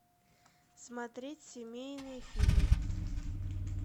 смотреть семейные фильмы